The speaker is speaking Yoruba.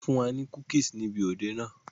Wọn fún wa ní cookies ni ibi òde náà.